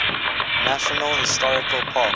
national historical park